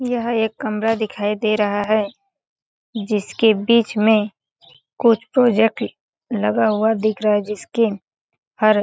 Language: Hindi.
यह एक कमरा दिखाई दे रहा है जिसके बीच में कुछ प्रोजेक्ट ल लगा हुअा दिख रहा है जिसके हर --